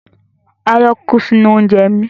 Aáyán kú sí inú oúnje mi.